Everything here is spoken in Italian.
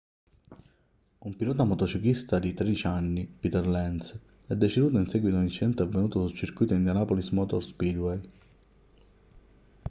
un pilota motociclista di 13 anni peter lenz è deceduto in seguito ad un incidente avvenuto sul circuito indianapolis motor speedway